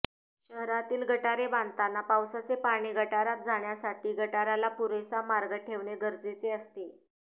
शहरातील गटारे बांधताना पावसाचे पाणी गटारात जाण्यासाठी गटाराला पुरेसा मार्ग ठेवणे गरजेचे असते